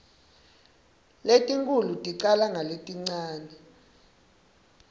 letinkhulu ticala ngaletincane